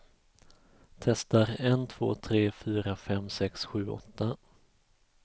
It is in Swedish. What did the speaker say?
Testar en två tre fyra fem sex sju åtta.